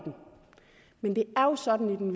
den